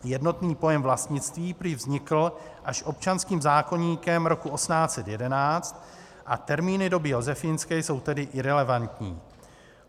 Jednotný pojem vlastnictví prý vznikl až občanským zákoníkem roku 1811 a termíny doby josefínské jsou tedy irelevantní.